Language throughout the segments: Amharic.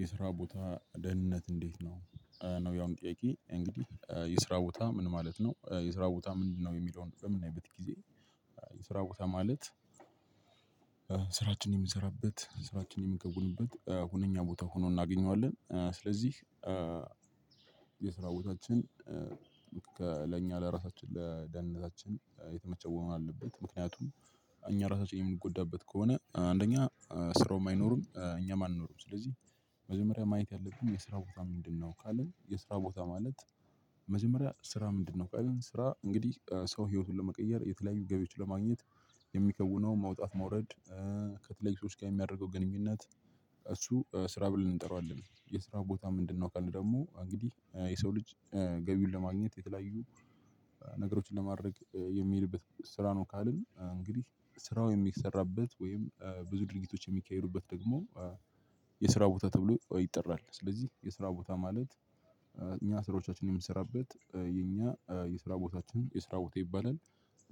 የስራ ቦታ ደህንነት እንዴት ነው ነው ያሁኑ ጥያቄ እንግዲህ የስራ ቦታ ምን ማለት ነው የስራ ቦታ ምንድነው? የሚለውን በምናይበት ጊዜ የስራ ቦታ ማለት ስራችንን የምንሰራበት ስራችን የምንከውንበት ሁነኛ ቦታ ሆኖ እናገኘዋለን። ስለዚህ የስራ ቦታችን ለእኛ ለራሳችን ለደንነታችን የተመቸ መሆን አለበት። ምክንያቱም እኛ ራሳችን የምንጎዳበት ከሆነ አንደኛ ስራውም አይኖሩም እኛም አንኖርም። ስለዚህ መጀመሪያ ማየት ያለብን የስራው ቦታ ምንድነው? ካልን የስራ ቦታ ማለት መጀመሪያ ስራ ምንድነው? ካልን ስራ እንግዲህ ሰው ህይወቱን ለመቀየር የተለያዩ ገቢዎች ለማግኘት የሚከውነው መውጣት መውረድ ከተለያዩ ሰወች ጋር የሚያደርገው ግንኙነት እሱ ስራ ብለን እንጠራዋለን። የስራ ቦታ ምንድን ነው? ካልን ደግሞ እንግዲህ የሰው ልጅ ገቢውን ለማግኘት የተለያዩ ነገሮችን ለማድረግ የሚሄድበት ስራ ነው። ካልን እንግዲህ ስራው የሚሰራበት ወይም ብዙ ድርጊቶች የሚካሄዱበት ደግሞ የስራ ቦታ ተብሎ ይጠራል። ስለዚህ የስራ ቦታ ማለት እኛ ስራዎቻችንን የምሰራበት የኛ የስራ ቦታችን የስራ ቦታ ይባላል።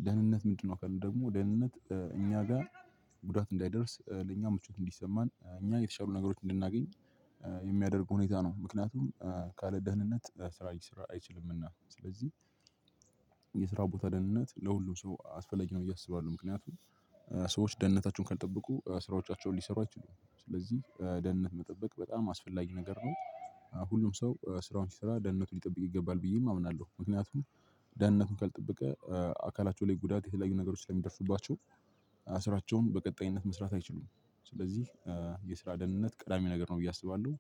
ደህንነት ምንድነው? ካልን ደግሞ ደህንነት እኛ ጋር ጉዳት እንዳይደርስ ለእኛ ምቾት እንዲሰማን እኛ የተሻሉ ነገሮች እንድናገኝ የሚያደርጉ ሁኔታ ነው። ምክንያቱም ካለ ደህንነት ስራ ሊሰራ አይችልምና ስለዚህ የስራ ቦታ ደህንነት ለሁሉም ሰው አስፈላጊ ነው። ብየ አስባለሁ ምክንያቱም ሰዎች ደህንነታቸውን ካልጠበቁ ስራዎቻቸውን ሊሰሩ አይችሉም ስለዚህ ደህንነት መጠበቅ በጣም አስፈላጊ ነገር ነው። ሁሉም ሰው ስራውን ሲሰራ ደህንነቱን ሊጠብቅ ይገባል ብዬም አምናለሁ። ምክንያቱም ደህንነቱን ካልጠበቀ አካላቸው ላይ ጉዳት የተለያዩ ነገሮች ላይ ስለሚደርሱባቸው ስራቸውን በቀጣይነት መስራት አይችሉም። ስለዚህ የስራ ደህንነት ቀዳሚ ነገር ነው ብዬ አስባለሁ።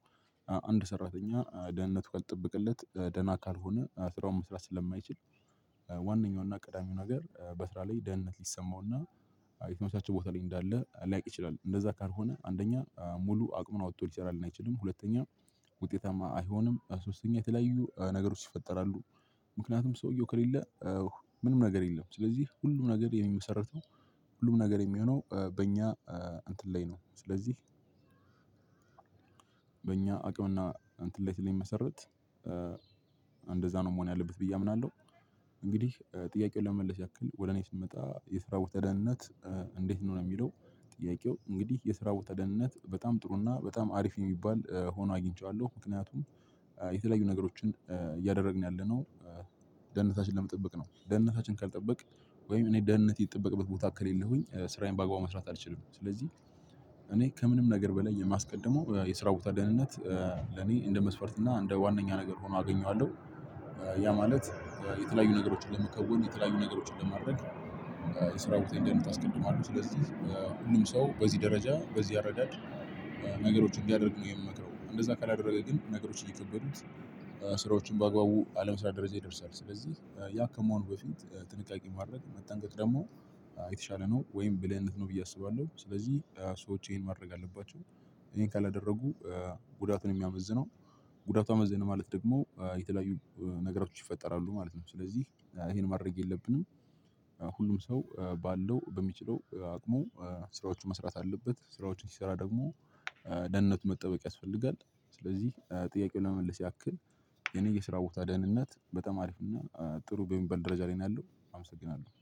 አንድ ሰራተኛ ደህንነቱ ካልተጠበቀለት ደህና ካልሆነ ስራውን መስራት ስለማይችል ዋነኛውና ቀዳሚው ነገር በስራ ላይ ደህንነት ሊሰማውና የተመቻቸ ቦታ ላይ እንዳለ ሊያውቅ ይችላል። እንደዛ ካልሆነ አንደኛ ሙሉ አቅሙን አውጥቶ ሊሰራልን አይችልም ሁለተኛ ውጤታማ አይሆንም። ሶስተኛ የተለያዩ ነገሮች ይፈጠራሉ። ምክንያቱም ሰውየው ከሌለ ምንም ነገር የለም። ስለዚህ ሁሉም ነገር የሚመሰረተው ሁሉም ነገር የሚሆነው በእኛ እንትን ላይ ነው። ስለዚህ በእኛ አቅምና እንትን ላይ ስለሚመሰረት እንደዛ ነው መሆን ያለበት ብዬ አምናለሁ። እንግዲህ ጥያቄውን ለመመለስ ያክል ወደ እኔ ስንመጣ የስራ ቦታ ደህንነት እንዴት ነው የሚለው? ጥያቄው እንግዲህ የስራ ደህንነት በጣም ጥሩና በጣም አሪፍ የሚባል ሆኖ አግኝቻለሁ። ምክንያቱም የተለያዩ ነገሮችን እያደረግን ያለነው ደነታችንን ለመጠበቅ ነው። ደህንነታችን ካልጠበቅን ወይም እኔ ደህንነቴ የተጠበቅበት ቦታ ከሌለሁኝ ስራዬን በአግባቡ መስራት አልችልም። ስለዚህ እኔ ከምንም ነገር በላይ የማስቀድመው የስራ ቦታ ደህንነት ለኔ እንደ መስፈርት እና እንደ ዋናኛ ነገር ሆኖ አገኘዋለሁ። ያ ማለት የተለያዩ ነገሮችን ለመከወን የተለያዩ ነገሮችን ለማድረግ የስራ ቦታየን ደህንነት አስቀድማለሁ። ስለዚህ ሁሉም ሰው በዚህ ደረጃ በዚህ አረዳድ ነገሮችን እንዲያደርግ ነው የምንመክረው። እንደዛ ካላደረገ ግን ነገሮችን እከበዱት ስራዎችን በአግባቡ አለመስራት ደረጃ ይደርሳል። ስለዚህ ያ ከመሆኑ በፊት ጥንቃቄ ማድረግ መጠንቀቅ ደግሞ የተሻለ ነው ወይም ብልህነት ነው ብዬ አስባለሁ። ስለዚህ ሰዎች ይሄን ማድረግ አለባቸው። ይሄን ካላደረጉ ጉዳቱ ነው የሚያመዝነው። ጉዳቱ አመዛኝ ነው ማለት ደግሞ የተለያዩ ነገሮች ይፈጠራሉ ማለት ነው። ስለዚህ ይሄን ማድረግ የለብንም። ሁሉም ሰው ባለው በሚችለው አቅሙ ስራዎቹን መስራት አለበት። ስራዎችን ሲሰራ ደግሞ ደህንነቱ መጠበቅ ያስፈልጋል። ስለዚህ ጥያቄውን ለመመለስ ያክል የኔ የስራ ቦታ ደህንነት በጣም ሀሪፍ እና ጥሩ በሚበል ደረጃ ላይ ነው ያለው። አመሰግናለሁ